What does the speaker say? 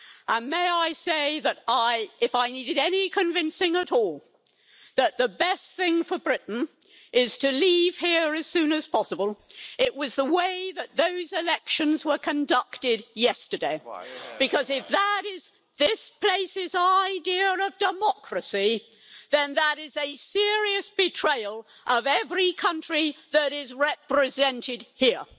And may I say that if I needed any convincing at all that the best thing for Britain is to leave here as soon as possible it was the way that those elections were conducted yesterday if that is this place's idea of democracy, then that is a serious betrayal of every country that is represented here,